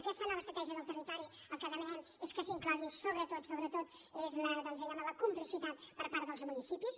aquesta nova estratègia del territori el que demanem és que s’hi inclogui sobretot sobretot és doncs diguem ne la complicitat per part dels municipis